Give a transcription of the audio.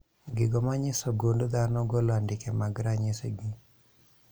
Gigo manyiso gund dhano golo andike mag ranyisi gi